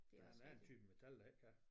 Der er en der er en type metal der ikke kan